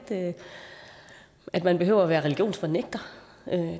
at man behøver at være religionsfornægter